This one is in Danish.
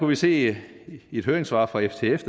vi se i et høringssvar fra ftf